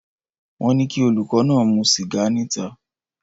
Wọ́n ní kí olùkọ́ náà mu sìgá níta